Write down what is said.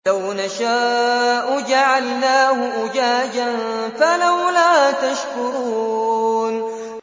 لَوْ نَشَاءُ جَعَلْنَاهُ أُجَاجًا فَلَوْلَا تَشْكُرُونَ